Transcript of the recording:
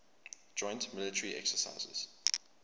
joint military exercises